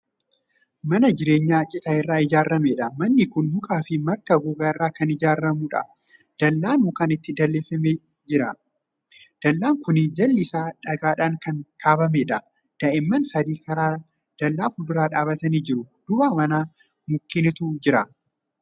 Man jireenyaa citaa irraa ijaaramudha. manni Kuni mukaafi marga gogaa irraa Kan ijaaarramu. dallaan mukaan itti dalleeffamee jira. dallaan Kuni jalli Isaa dhagaadhaan Kan kaabbameedha. daa'imman sadi karra dallaa fuuldura dhaabatanii jiru. duuba manaa mukkeentu Jira.